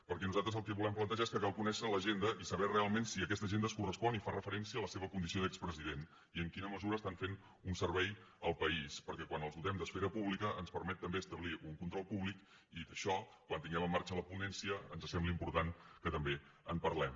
perquè nosaltres el que volem plantejar és que cal conèixer l’agenda i saber realment si aquesta agenda es correspon i fa referència a la seva condició d’expresident i en quina mesura estan fent un servei al país perquè quan els doten d’esfera pública ens permet també establir un control públic i d’això quan tinguem en marxa la ponència ens sembla important que també en parlem